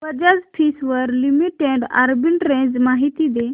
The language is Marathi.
बजाज फिंसर्व लिमिटेड आर्बिट्रेज माहिती दे